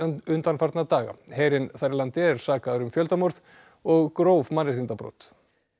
undanfarna daga herinn þar í landi er sakaður um fjöldamorð og gróf mannréttindabrot